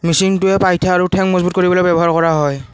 মেচিনটোৰে পাইথা আৰু ঠেং মজবুত কৰিবলৈ ব্যবহাৰ কৰা হয়।